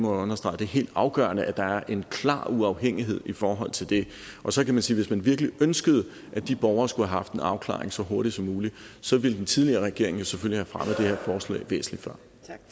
understrege det er helt afgørende at der er en klar uafhængighed i forhold til det og så kan man sige at man virkelig ønskede at de borgere skulle have haft en afklaring så hurtigt som muligt så ville den tidligere regering selvfølgelig have her forslag væsentlig før